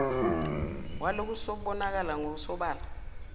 walokho usubonakala ngokusobala